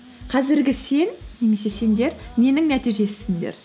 қазіргі сен немесе сендер ненің нәтижесісіңдер